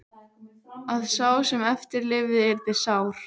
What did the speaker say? Að sá sem eftir lifði yrði sár.